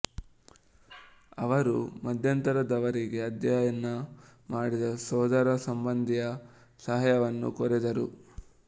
ಅವರು ಮಧ್ಯಂತರದವರಿಗೆ ಅಧ್ಯಯನ ಮಾಡಿದ ಸೋದರ ಸಂಬಂಧಿಯ ಸಹಾಯವನ್ನು ಕೋರಿದರು